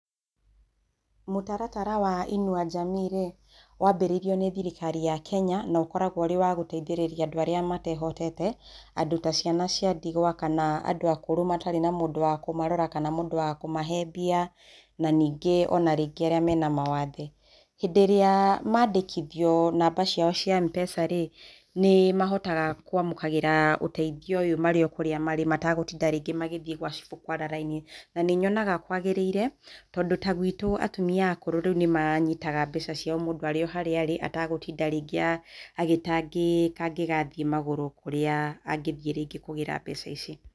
Mũtaratara wa inua Jamii-rĩ wanjĩrĩirio nĩ thirikari ya kenya no ũkoragwo wĩ wa gũteithĩrĩria andũ arĩa matehotete. Andũ ta ciana cia ndigwa, andũ akũrũ matarĩ na mũndũ wa kũmarora kana mũndũ wa kũmahe mbia na ningĩ arĩa marĩ na mawathe. Hĩndĩ ĩrĩa mandĩkithia núamba ciao cia M-Pesa-rĩ, nĩ mahoga kwamũkĩra ũteithio ũyũ marĩ o kurĩa marĩ mategũtinda magĩthiĩ gwa cibũ kwara raini, na nĩnyonaga kwagĩrĩire tondũ ta gwĩtũ atumia akũrũ nĩ manyĩtaga mbeca ciao marĩ o harĩa marĩ atagũtinda rĩngĩ agĩtangĩka angĩgathiĩ magũrũ kũrĩa angĩthiĩ kũgĩra mbeca ici.